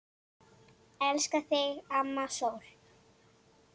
Elska þig, amma sól.